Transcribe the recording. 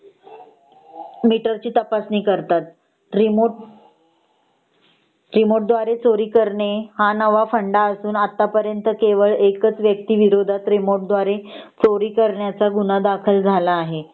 Metre ची तपासणी करतात रिमोट रिमोट द्वारे चोरी करणे हा नवा फंडा असून आता पर्यंत केवळ एकच व्यक्ती विरोधात रिमोट द्वारे चोरी करण्याचा गुन्हा दाखल झाला आहे .